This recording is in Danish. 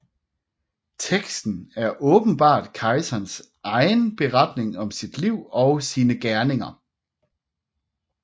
Teksten er åbenbart kejserens egen beretning om sit liv og sine gerninger